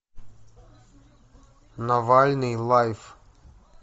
навальный лайф